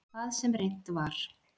Hvað sem reynt var.